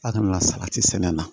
A kana na salati sɛnɛ na